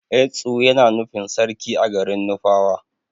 Etsu Yana nufin sarki a garin nufawa.